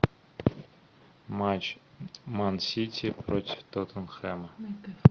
матч ман сити против тоттенхэма